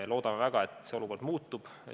Loodame väga, et see olukord muutub.